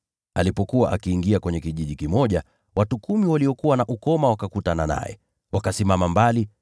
Alipokuwa akiingia kwenye kijiji kimoja, watu kumi waliokuwa na ukoma wakakutana naye. Wakasimama mbali,